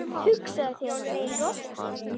Hugsaðu þér- í roki!